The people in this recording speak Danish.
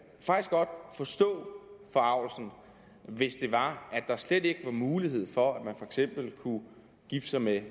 forstå forargelsen hvis det var at der slet ikke var en mulighed for at man for eksempel kunne gifte sig med en